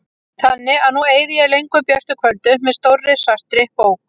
Þannig að nú eyði ég löngum björtum kvöldum með stórri svartri bók.